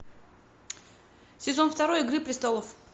сезон второй игры престолов